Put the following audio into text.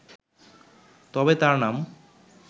তবে তাঁর নাম